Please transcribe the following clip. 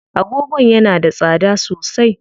Agogon yana da tsada sosai.